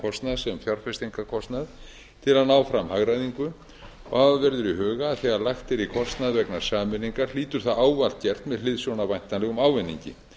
kostnað sem fjárfestingarkostnað til að ná fram hagræðingu hafa verður í huga að þegar lagt er í kostnað vegna sameiningar hlýtur það ávallt gert með hliðsjón af væntanlegum ávinningi